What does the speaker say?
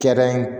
Kɛda in